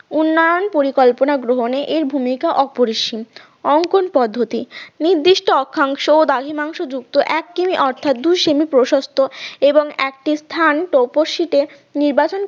উন্নয়ন পরিকল্পনা গ্রহণে এর ভূমিকা অপরিসীম অঙ্কন পদ্ধতি নির্দিষ্ট অক্ষাংশ ও দ্রাঘিমাংশ যুক্ত এক সেমি অর্থাৎ দুই সেমি প্রশস্ত এবং একটি স্থান টপশ্রীতে নির্বাচন